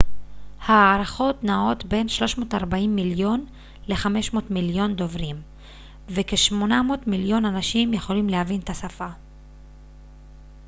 ההערכות נעות בין 340 מיליון ל-500 מיליון דוברים וכ-800 מיליון אנשים יכולים להבין את השפה